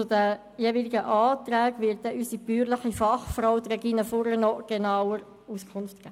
Zu den jeweiligen Anträgen wird unsere bäuerliche Fachfrau, Regina Fuhrer, noch genauer Auskunft geben.